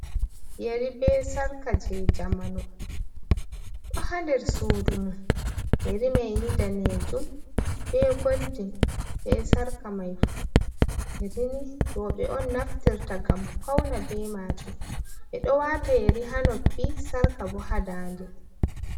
Yeri bee Sarka jey jamanu ɗo haa nder suudu mum, yeri may ni daneejum bee goldin, bee sarka may fuh, Yeri ni rewbe on naftirta ngam fawna bee maajum. Ɓe ɗo waata Yeri haa noppi Sarka boo haa daande.